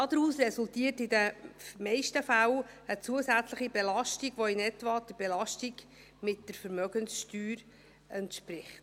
Daraus resultiert in den meisten Fällen eine zusätzliche Belastung, welche in etwa der Belastung der Vermögenssteuer entspricht.